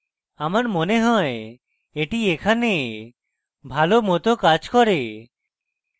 আমার মনে হয় এটি এখানে ভালো মত কাজ করে